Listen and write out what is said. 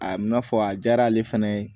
A n'a fɔ a diyar'ale fana ye